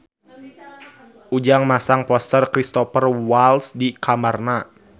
Ujang masang poster Cristhoper Waltz di kamarna